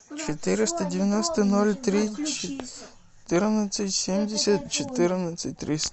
четыреста девяносто ноль три четырнадцать семьдесят четырнадцать триста